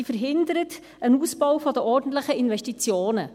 Sie verhindert einen Ausbau der ordentlichen Investitionen.